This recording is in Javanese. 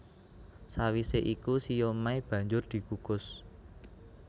Sawisé iku siomai banjur dikukus